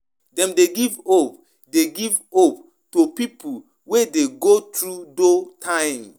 Dem de teach pipo how Dem go fit relate relate with one another